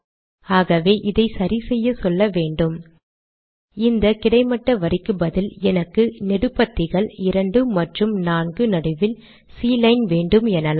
ஆகவே இதை சரி செய்ய சொல்ல வேன்டும் இந்த கிடைமட்ட வரிக்கு பதில் எனக்கு நெடுபத்திகள் 2 மற்றும் 4 நடுவில் சி லைன் வேண்டும் எனலாம்